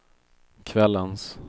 kvällens